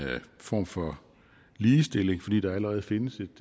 form for ligestilling fordi der allerede findes